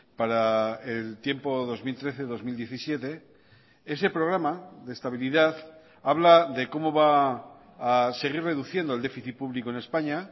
para el tiempo dos mil trece dos mil diecisiete ese programa de estabilidad habla de cómo va a seguir reduciendo el déficit público en españa